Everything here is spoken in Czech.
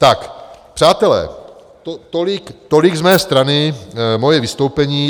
Tak, přátelé, tolik z mé strany, moje vystoupení.